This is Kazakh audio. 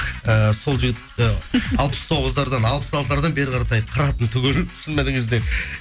ііі сол жігіт і алпыс тоғыздардан алпыс алтылардан бері қаратай қыратын түгелін